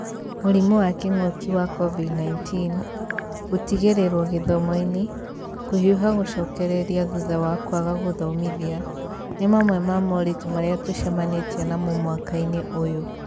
Mũrimũ wa kĩng'ũki wa COVID-19, gũtigĩrĩrwo gĩthomo-inĩ, kũhiũha gũcokereria thutha wa kwaga gũthomithia, nĩ mamwe ma moritũ marĩa tũcemanĩtie namo mwaka-inĩ ũyũ.